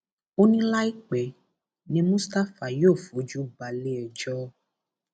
ó ní láìpẹ ní mustapha yóò fojú balẹ ẹjọ